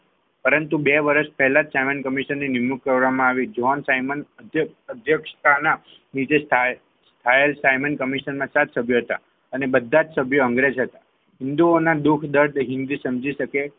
પરંતુ બે વર્ષ પહેલાં સાયમન કમિશન નિમણૂક કરવામાં આવી જોન સાયમન અધ્યક્ષતાના ફાઈલ સાયમન કમિશનમાં હતા સભ્ય અને બધા જ સભ્યો અંગ્રેજ હતા હિન્દુઓના દુઃખ દર્દ સમજી શકે.